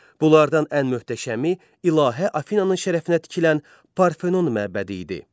Bunlardan ən möhtəşəmi ilahə Afinananın şərəfinə tikilən Parfenon məbədi idi.